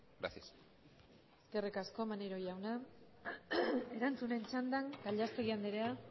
gracias eskerrik asko maneiro jauna erantzunen txandan gallastegui anderea